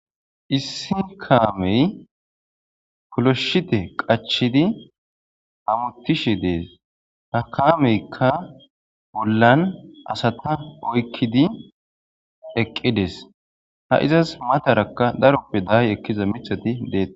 issi kaamey puloshite qachidi hamutishe dees ha kaameykka bollan asata oykkidi eqqides ha izas matarakka daroppe daaye ekkiza mithati dee